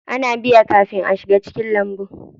Ana biya kafin a shiga cikin lambun.